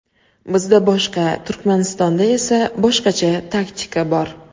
Bizda boshqa, Turkmanistonda esa boshqacha taktika bor.